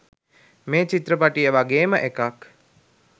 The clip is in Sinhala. මේ චිත්‍රපටිය වගේම එකක්.